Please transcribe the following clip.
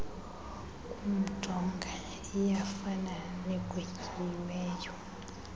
kumjonga iyafana negwetyiweyo